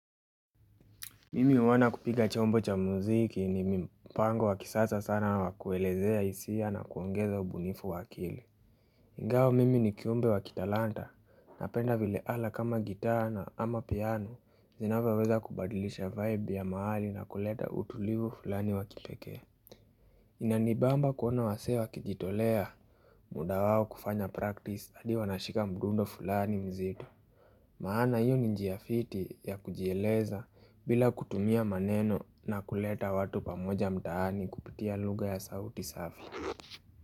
Mimi uoana kupiga chombo cha muziki ni mpango wakisasa sana wakuelezea isia na kuongeza ubunifu wakili ingawa mimi ni kiumbe wa kitalanta na penda vile ala kama gitaa ama piano zinaweweza kubadilisha vibe ya mahali na kuleta utulivu fulani wakipeke Inanibamba kuona wasee wakijitolea muda wao kufanya practice adi wanashika mdundo fulani mzito Maana yu ni njia fiti ya kujieleza bila kutumia maneno na kuleta watu pamoja mtaani kupitia lugha ya sauti safi.